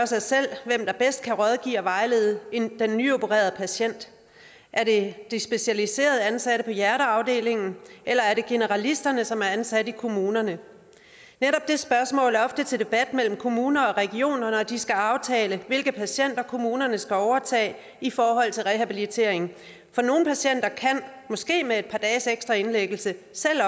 sig selv hvem der bedst kan rådgive og vejlede den nyopererede patient er det de specialiserede ansatte på hjerteafdelingen eller er det generalisterne som er ansat i kommunerne netop det spørgsmål er ofte til debat mellem kommuner og regioner når de skal aftale hvilke patienter kommunerne skal overtage i forhold til rehabilitering for nogle patienter kan måske med et par dages ekstra indlæggelse